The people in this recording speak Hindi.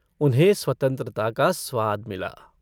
उन्हें स्वतन्त्रता का स्वाद मिला।